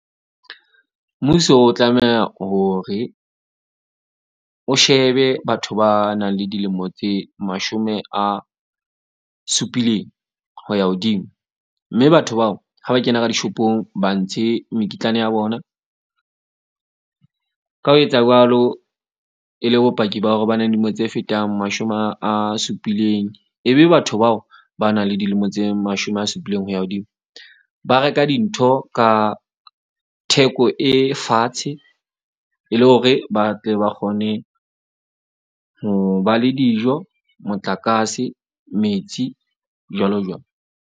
Mmuso o tlameha hore o shebe batho ba nang le dilemo tse mashome a supileng ho ya hodimo. Mme batho bao ha ba kena ka di-shop-ong, ba ntshe mekitlane ya bona. Ka ho etsa jwalo, e le bopaki ba hore ba na le dilemo tse fetang mashome a supileng. Ebe batho bao ba nang le dilemo tse mashome a supileng ho ya hodimo, ba reka dintho ka theko e fatshe e le hore ba tle ba kgone ho ba le dijo, motlakase, metsi, jwalo .